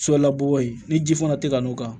So labɔ ye ni ji fana tɛ ka n'o kan